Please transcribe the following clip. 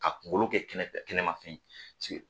A kunkolo kɛ kɛnɛmafɛn yen